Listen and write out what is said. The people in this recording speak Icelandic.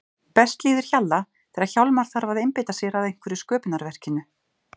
Best líður Hjalla þegar Hjálmar þarf að einbeita sér að einhverju sköpunarverkinu.